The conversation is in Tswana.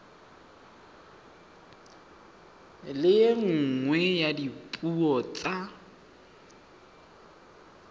le nngwe ya dipuo tsa